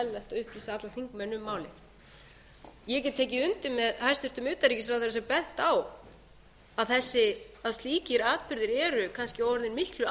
upplýsa alla þingmenn um málið ég get tekið undir með hæstvirtum utanríkisráðherra sem benti á að slíkir atburðir eru kannski orðnir miklu